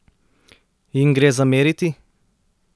Jim gre zameriti?